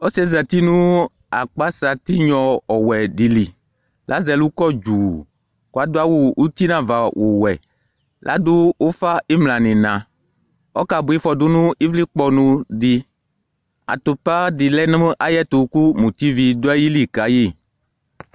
Uvie zati nʋ aƙpasa tinƴɔ ɔwɛ ɖɩ li, ƙʋ l' asɛ ɛlʋ ƙɔ ɖuuƘʋ l' aɖʋ awʋ uti n' ava ɔwɛ,ƙ 'aɖʋ ʋfa ɩmla nʋ ɩhɩnaƆƙa bʋa ɩfɔɖʋ nʋ ɩvlɩƙpɔnʋ ɖɩ ,atʋpa ɖɩ lɛ nʋ aƴ'ɛtʋ ƙʋ mutivi ɖʋ aƴili ƙa ƴɩ